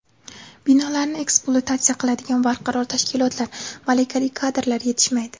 Binolarni ekspluatatsiya qiladigan barqaror tashkilotlar, malakali kadrlar yetishmaydi.